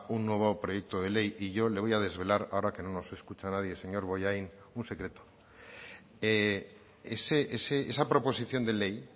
un nuevo proyecto de ley y yo le voy a desvelar ahora que no nos escucha nadie señor bollain un secreto esa proposición de ley